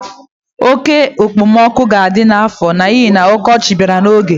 Oke ekpemoku ga-adi n'afọ n'ihi na ọkọchị bịara n'oge.